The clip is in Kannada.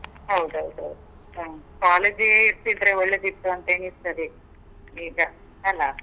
ಹೌದ್ ಹೌದ್ ಹೌದು. ಹ. college ಇರ್ತಿದ್ರೆ ಒಳ್ಳೇದಿತ್ತು ಅಂತ ಎಣಿಸ್ತದೆ, ಈಗ ಅಲ?